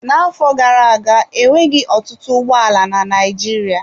N'afọ gara-aga enweghị ọtụtụ ụgbọ ala na Naịjirịa.